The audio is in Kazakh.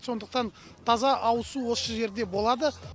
сондықтан таза ауызсу осы жерде болады